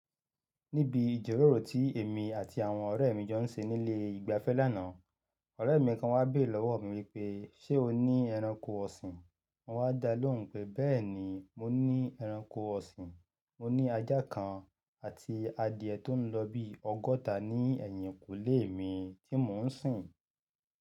Níbi ìjọ́lóró ti èmi àti àwọn ọ̀rẹ́ mi jọ ń ṣe nílé ìgbafẹ́ lánàá, ọ̀rẹ́ mi kan wá bé lọ́wọ́ mi wípé ṣe o ní ẹranko ọ̀sìn? Mo wá dá lóhùn pé bẹ́ẹ̀ni mo ní ẹranko ọ̀sìn, mo ní ajá kan àti adìẹ tó ń lọ bí ọgọ́ta ní ẹ̀yìnkùlé mi tí mò ń sìn.